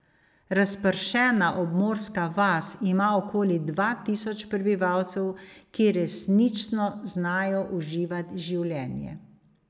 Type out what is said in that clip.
Razpršena obmorska vas ima okoli dva tisoč prebivalcev, ki resnično znajo uživati življenje.